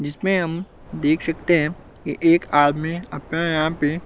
जिसमें हम देख सकते हैं कि एक आदमी अपना यहां पे